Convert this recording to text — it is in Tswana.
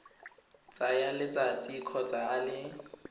tsaya letsatsi kgotsa a le